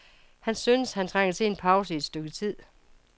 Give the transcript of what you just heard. Han synes, at han trænger til en pause i et stykke tid.